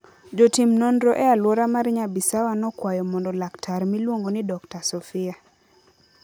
Jotim nonro e alwora mar Nyabisawa nokwayo mondo laktar miluongo ni Dr. Sofia.